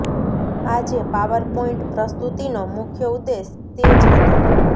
આજે PowerPoint પ્રસ્તુતિનો મુખ્ય ઉદ્દેશ તે જ હતો